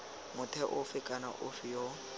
motho ofe kana ofe yo